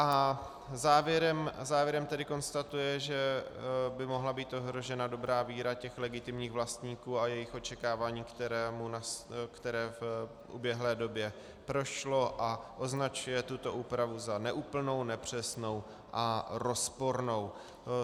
A závěrem tedy konstatuje, že by mohla být ohrožena dobrá víra těch legitimních vlastníků a jejich očekávání, které v uběhlé době prošlo a označuje tuto úpravu za neúplnou, nepřesnou a rozpornou.